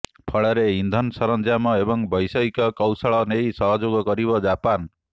ଫଳରେ ଇନ୍ଧନ ସରଞ୍ଜାମ ଏବଂ ବୈଷୟିକ କୌଶଳ ନେଇ ସହଯୋଗ କରିବ ଜାପାନ